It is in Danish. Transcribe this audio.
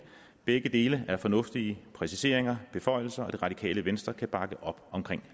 begge dele er fornuftige præciseringer beføjelser og det radikale venstre kan bakke op om